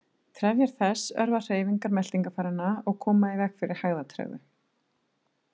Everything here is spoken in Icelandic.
Trefjar þess örva hreyfingar meltingarfæranna og koma í veg fyrir hægðatregðu.